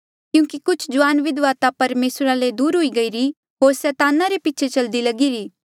क्यूंकि कुछ जुआन विधवा ता परमेसरा ले दूर हुई गईरी होर सैताना रे पीछे चलदी लगिरी